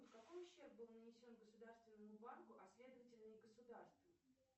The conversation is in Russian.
какой ущерб был нанесен государственному банку а следовательно и государству